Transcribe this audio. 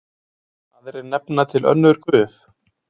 Aðrir nefna til önnur guð.